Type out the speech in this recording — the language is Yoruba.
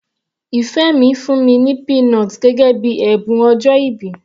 Ìfẹ́ mi fún mi ní peanut gẹ́gẹ́ bíi ẹ̀bùn ọjọ́ìbí.